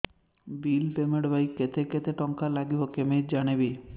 bill payment ପାଇଁ କେତେ କେତେ ଟଙ୍କା ଲାଗିବ କେମିତି ଜାଣିବି